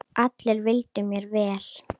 Allir vildu mér vel.